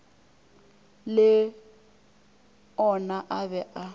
le ona a be a